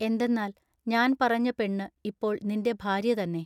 എന്തെന്നാൽ ഞാൻ പറഞ്ഞ പെണ്ണ് ഇപ്പോൾ നിന്റെ ഭാര്യ തന്നെ.